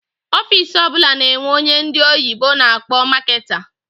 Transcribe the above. Ọffici ọbula na-enwe ónyé ndị oyibo na akpọ Marketer.